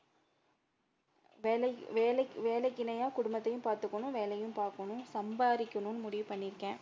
வேலை வேலைக் வேலைக்கு இணையா குடும்பத்தையும் பாத்துக்கணும் வேலையும் பாக்கணும், சம்பாரிக்கனும்னு முடிவு பண்ணி இருக்கே